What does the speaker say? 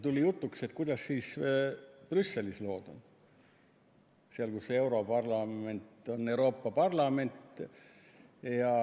Tuli jutuks, et kuidas siis Brüsselis lood on – seal, kus on europarlament, Euroopa Parlament.